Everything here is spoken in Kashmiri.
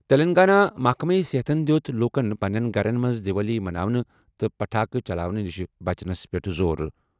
تیٚلنٛگانہ محکمہٕ صحتَن دِیُت لوٗکَن پنٛنٮ۪ن گَرَن منٛز دیوالی مَناونہٕ تہٕ پٹاخہٕ چلاونہٕ نِش بچنَس پٮ۪ٹھ زور ۔